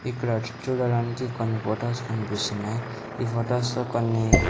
ఇక్కడ చూడటానికి కొన్ని ఫొటోస్ కనిపిస్తున్నాయ్ ఈ ఫొటోస్ లో కొన్నీ --